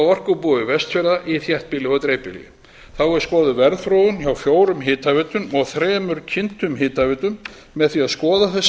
orkubúi vestfjarða í þéttbýli og dreifbýli þá er skoðuð verðþróun hjá fjórum hitaveitum og þremur kyntum hitaveitum með því að skoða þessa